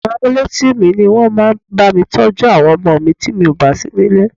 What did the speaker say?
Àwọn amuletìmí ní wọn máa ń bá mi tọ́jú àwọn ọmọ mi tí mò bà sí nílé.